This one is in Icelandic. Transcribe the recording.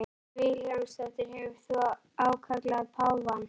Hödd Vilhjálmsdóttir: Hefur þú ákallað páfann?